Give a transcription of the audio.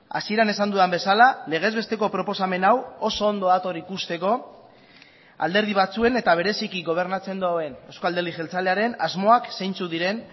hasieran esan dudan bezala legez besteko proposamen hau oso ondo dator ikusteko alderdi batzuen eta bereziki gobernatzen duen euzko alderdi jeltzalearen asmoak zeintzuk diren